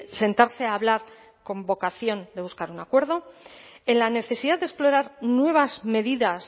sentarse a hablar con vocación de buscar un acuerdo en la necesidad de explorar nuevas medidas